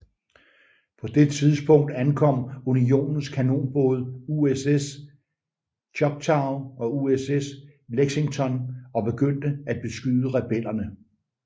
På det tidspunkt ankom unionens kanonbåde USS Choctaw og USS Lexington og begyndte at beskyde rebellerne